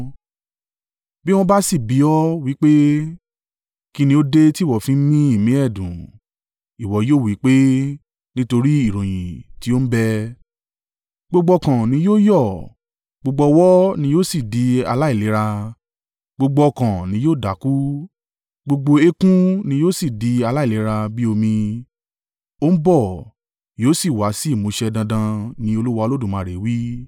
Bí wọ́n bá sì bi ọ́, wí pé, ‘Kí ni ó dé tí ìwọ fi ń mí ìmí ẹ̀dùn?’ Ìwọ yóò wí pé, ‘Nítorí ìròyìn tí ó ń bẹ. Gbogbo ọkàn ni yóò yọ́, gbogbo ọwọ́ ni yóò sì di aláìlera; gbogbo ọkàn ní yóò dákú, gbogbo eékún ni yóò sì di aláìlera bí omi?’ Ó ń bọ̀! Yóò sì wa sí ìmúṣẹ dandan, ni Olúwa Olódùmarè wí.”